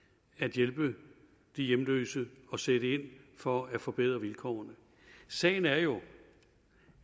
hjælpe de hjemløse og sætte ind for at forbedre deres vilkår sagen er jo